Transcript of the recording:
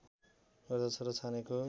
गर्दछ र छानेको